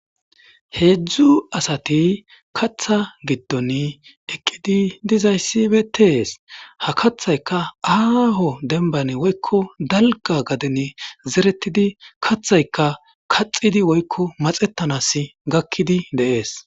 Hezhu asati katha gidon eqidi dizzysi betes ha kathayka Aho demban woykon dalga garden zeretidi kathayika kathidi woykon maxetana gakidi de'es.